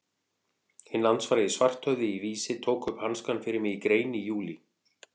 Hinn landsfrægi Svarthöfði í Vísi tók upp hanskann fyrir mig í grein í júlí.